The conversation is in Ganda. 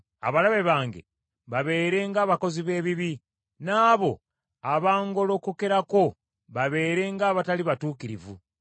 “Abalabe bange babeere ng’abakozi b’ebibi, n’abo abangolokokerako babeere ng’abatali batuukirivu!